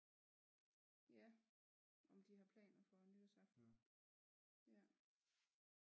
Ja om de har planer for nytårsaften ja